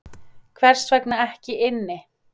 Hvers vegna ekki inni